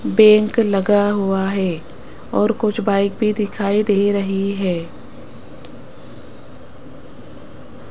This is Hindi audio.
बैंक लगा हुआ है और कुछ बाइक भी दिखाई दे रही है।